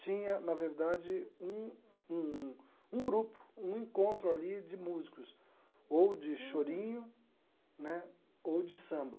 tinha, na verdade, um um um grupo, um encontro ali de músicos, ou de chorinho né, ou de samba.